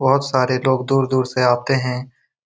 और बहुत सारे लोग दूर-दूर से आते हैं